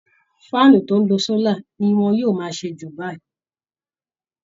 faáànù tó ń lo sólà ni wọ́n yóò máa ṣe jù báyìí